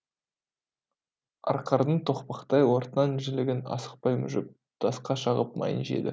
арқардың тоқпақтай ортан жілігін асықпай мүжіп тасқа шағып майын жеді